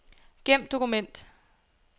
Gem dokument.